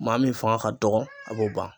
Maa min fanga ka dɔgɔ a b'o ban.